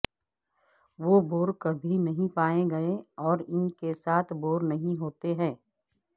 وہ بور کبھی نہیں پائیں گے اور ان کے ساتھ بور نہیں ہوتے ہیں